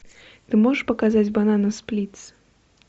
ты можешь показать банана сплитс